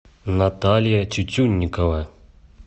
наталья тютюнникова